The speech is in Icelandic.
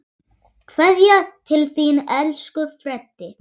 Kveðja til þín, elsku Freddi.